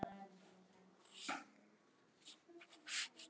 Þau vita það ekki sjálf.